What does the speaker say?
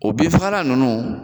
O bin fagala nunnu